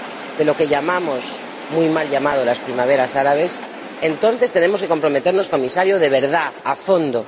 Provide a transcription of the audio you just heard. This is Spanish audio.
de lo que llamamos, muy mal llamadas, las primaveras árabes, entonces tenemos que comprometernos, Comisario, de verdad, a fondo.